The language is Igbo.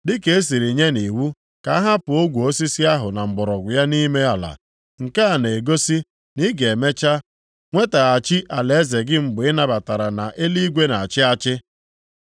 Dịka e siri nye nʼiwu ka a hapụ ogwe osisi ahụ na mgbọrọgwụ ya nʼime ala. Nke a na-egosi na ị ga-emecha nwetaghachi alaeze gị mgbe ị nabatara na Eluigwe na-achị achị.